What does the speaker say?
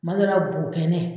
Kuma dɔ la bo kɛnɛ.